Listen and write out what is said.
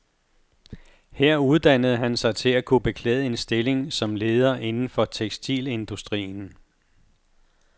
Her uddannede han sig til at kunne beklæde en stilling som leder inden for tekstilindustrien.